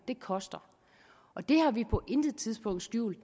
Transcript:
det koster det har vi på intet tidspunkt skjult